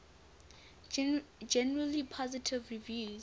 generally positive reviews